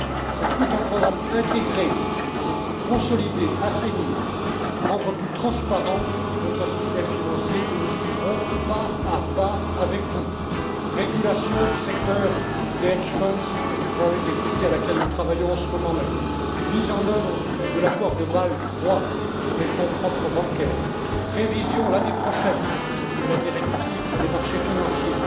C'est tout un programme intégré pour consolider, assainir, rendre plus transparent notre système financier que nous suivrons, pas à pas, avec vous la régulation du secteur des hedge funds et de la Private equity à laquelle nous travaillons en ce moment même, la mise en œuvre de l'accord de Bâle III sur les fonds propres bancaires, la révision, l'année prochaine, de la directive sur les marchés financiers,